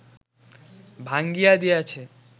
ভাঙ্গিয়া দিয়াছে